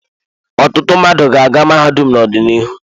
Ọtụtụ mmadụ ga-aga mahadum n'ọdịnihu.